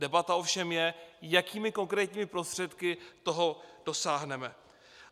Debata ovšem je, jakými konkrétními prostředky toho dosáhneme.